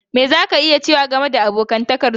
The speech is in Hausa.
Me za ka iya cewa game da abokantakar ka da su?